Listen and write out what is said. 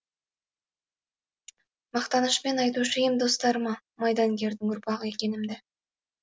мақтанышпен айтушы ем достарыма майдангердің ұрпағы екенімді